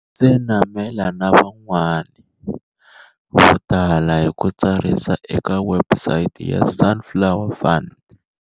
Se namela na van'wana vo tala hi ku tsarisa eka webusayiti ya Sunflower Fund.